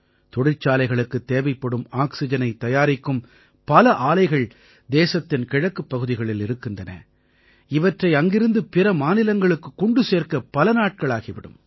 தொழிற்சாலைகளுக்குத் தேவைப்படும் ஆக்சிஜனைத் தயாரிக்கும் பல ஆலைகள் தேசத்தின் கிழக்குப் பகுதிகளில் இருக்கின்றன இவற்றை அங்கிருந்து பிற மாநிலங்களுக்குக் கொண்டு சேர்க்க பல நாட்களாகி விடும்